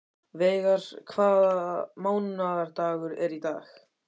Veigar, hvaða mánaðardagur er í dag?